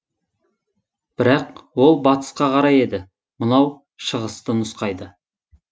бірақ ол батысқа қарай еді мынау шығысты нұсқайды